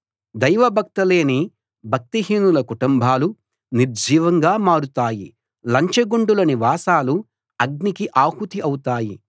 దైవభక్తి లేని భక్తిహీనుల కుటుంబాలు నిర్జీవంగా మారతాయి లంచగొండుల నివాసాలు అగ్నికి ఆహుతి అవుతాయి